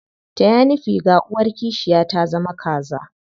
Taya ni figa, uwar kishiya ta zama kaza.